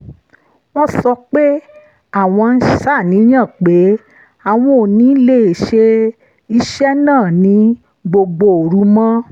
wọ́n sọ pé àwọn ń ṣàníyàn pé àwọn ò ní lè ṣe iṣẹ́ náà ní gbogbo òru mọ́